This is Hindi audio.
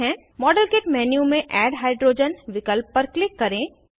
मॉडेल किट मेन्यू में एड हाइड्रोजन विकल्प पर क्लिक करें